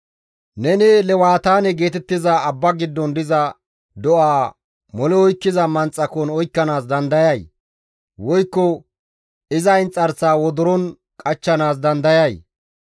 «Neni lewataane geetettiza abba giddon diza do7a mole oykkiza manxakon oykkanaas dandayay? Woykko iza inxarsaa wodoron qachchanaas dandayay?